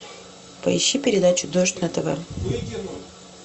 поищи передачу дождь на тв